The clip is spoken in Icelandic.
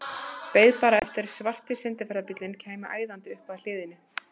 Beið bara eftir að svarti sendiferðabíllinn kæmi æðandi upp að hliðinni.